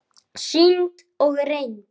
Sýnd og reynd.